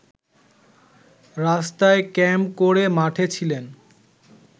রাস্তায় ক্যাম্প করে মাঠে ছিলেন